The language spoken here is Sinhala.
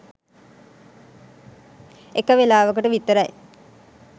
එක වෙලාවකට විතරයි.